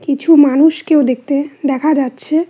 কিছু মানুষকেও দেখতে দেখা যাচ্ছে।